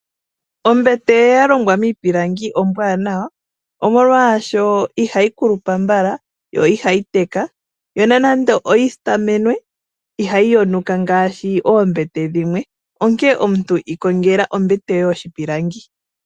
Ombete ya longwa miipilangi ombwaanawa molwasho ihayi kulupa mbala yo ihayi teka opena nando oyi sitamenwe ihayi yonuka ngaashi oombete dhimwe onkee omuntu ikongela ombete yoye yoshilangi.